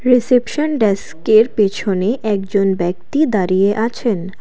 Reception ডেস্কের পেছনে একজন ব্যক্তি দাঁড়িয়ে আছেন।